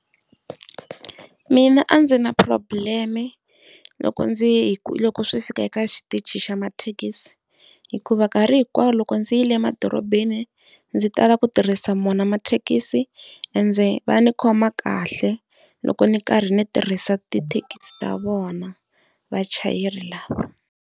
Mina a ndzi na problem-e loko ndzi loko swi fika eka xitichi xa mathekisi, hikuva nkarhi hinkwawo loko ndzi yile emadorobeni ndzi tala ku tirhisa wona mathekisi, ende va ndzi khoma kahle loko ndzi karhi ndzi tirhisa tithekisi ta vona vachayeri lava.